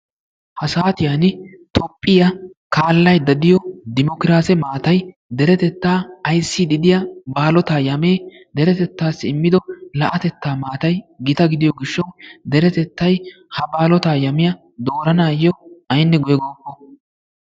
Ha saatiyaan toophphiyaa kaallaydda diyoo dimokiraase maatay deretettaa ayssiidi diyaa baalotaa yamee deretettaa immido la"atettaa maatay gita gidiyoo gishshawu deretettay ha baalotaa yamiyaa dooranayoo aynne guye gookko.